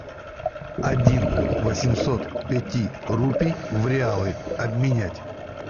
один восемьсот пяти рупий в реалы обменять